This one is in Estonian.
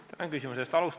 Aitäh küsimuse eest!